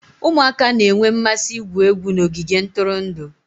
Ụmụaka na-enwe mmasị igwu egwu n'ogige ntụrụndụ